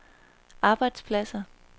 arbejdspladser